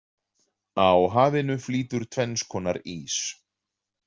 Á hafinu flýtur tvenns konar ís.